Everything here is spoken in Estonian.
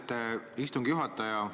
Austet istungi juhataja!